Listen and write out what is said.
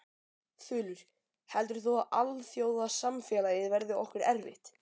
Þulur: Heldur þú að alþjóðasamfélagið verði okkur erfitt?